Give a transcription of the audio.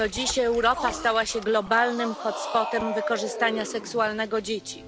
To dziś Europa stała się globalnym hotspotem wykorzystania seksualnego dzieci.